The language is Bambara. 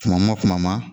Kuma ma kuma ma